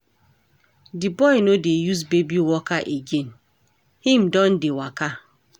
Di boy no dey use baby walker again, him don dey waka.